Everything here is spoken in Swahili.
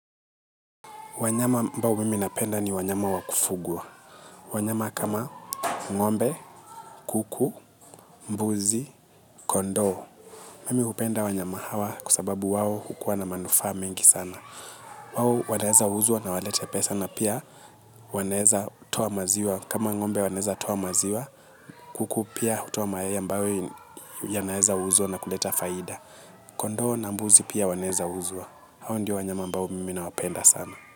Wanyama ambao mimi napenda ni wanyama wakufugwa. Wanyama kama ngombe, kuku, mbuzi, kondoo. Mimi hupenda wanyama hawa kwa sababu wao hukuwa na manufaa mingi sana. Wao wanaeza uzwa na walete pesa na pia waneza toa maziwa. Kama ngombe waneza toa maziwa, kuku pia hutoa mayai mbao yanaeza uzwa na kuleta faida. Kondoo na mbuzi pia waneza uzua. Hao ndio wanyama mbao mimi nawapenda sana.